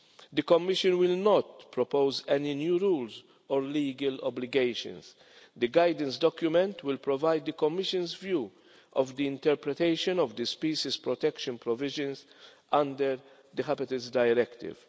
The Commission will not propose any new rules or legal obligations. The guidance document will provide the Commission's view on interpretation of the species protection provisions under the Habitats Directive.